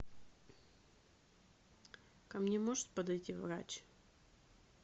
ко мне может подойти врач